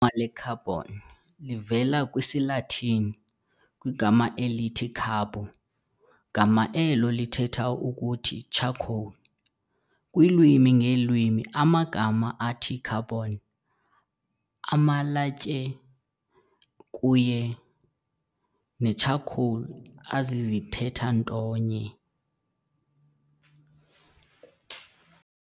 ma le-carbon livela kwisiLatin kwigama elithi "carbo", gama elo lithetha ukuthi charcoal. Kwiilwimi ngeelwimi amagama athi carbon, amalatye kuye ne-charcoal azizithetha nto nye.